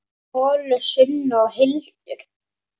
Ólöf, Sunna og Hildur.